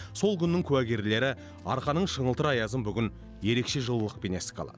сол күннің куәгерлері арқаның шыңылтыр аязын бүгін ерекше жылылықпен еске алады